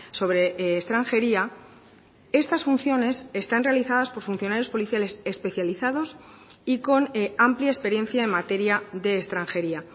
sobre extranjería estas funciones están realizadas por funcionarios policiales especializados y con amplia experiencia en materia de extranjería